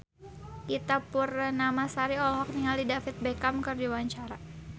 Ita Purnamasari olohok ningali David Beckham keur diwawancara